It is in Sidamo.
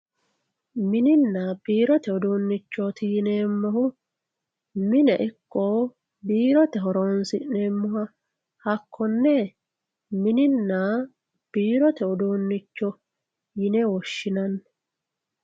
Minina biirote udunichoti yineemori mine ikko biirote horonsineemoha hakkone minina biirote uduunicho yine woshinani